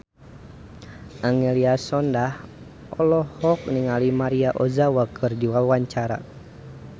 Angelina Sondakh olohok ningali Maria Ozawa keur diwawancara